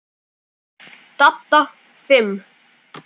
Dadda fimm.